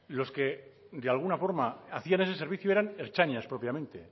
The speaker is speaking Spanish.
lo que de alguna forma hacían ese servicio eran ertzainas propiamente